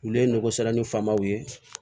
Olu ye nɔgɔ sɛrɛnimanw ye